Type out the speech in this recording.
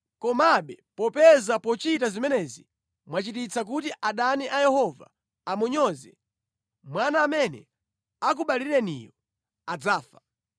Komabe, popeza pochita zimenezi mwachititsa kuti adani a Yehova amunyoze, mwana amene akubalireniyo adzafa.”